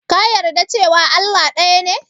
Ka yarda cewa Allah ɗaya ne?